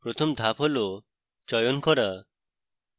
প্রথম ধাপ হল চয়ন করা